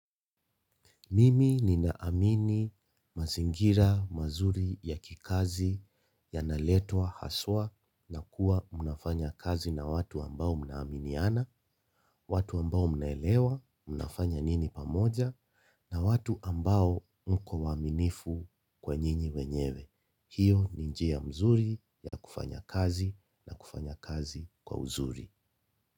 Mimi ninaamini mazingira mazuri ya kikazi yanaletwa haswa na kuwa mnafanya kazi na watu ambao mnaaminiana, watu ambao mnaelewa mnafanya nini pamoja na watu ambao mko waaminifu kwa nyinyi wenyewe. Hiyo ni njia mzuri ya kufanya kazi na kufanya kazi kwa uzuri.